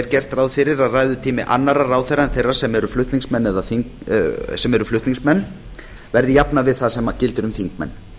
gert ráð fyrir að ræðutími annarra ráðherra en þeirra sem eru flutningsmenn verði jafnað við það sem gildir um þingmenn